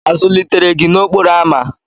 A zụlitere gị n'okporo ámá?